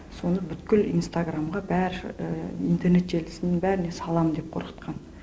соны бүткіл инстаграмға бәрі интернет желісінің бәріне саламын деп қорқытқан